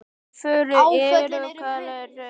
Áföllin urðu fleiri.